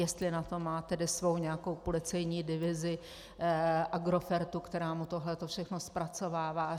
Jestli na to má tedy svou nějakou policejní divizi Agrofertu, která mu tohle všechno zpracovává?